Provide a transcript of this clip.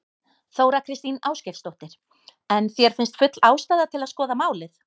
Þóra Kristín Ásgeirsdóttir: En þér finnst full ástæða til að skoða málið?